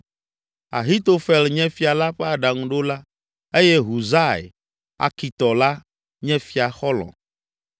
Ahitofel nye fia la ƒe aɖaŋuɖola eye Husai, Arkitɔ la, nye fia xɔlɔ̃.